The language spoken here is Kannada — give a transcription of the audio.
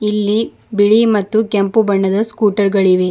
ಇಲ್ಲಿ ಬಿಳಿ ಮತ್ತು ಕೆಂಪು ಬಣ್ಣದ ಸ್ಕೂಟರ್ ಗಳಿವೆ.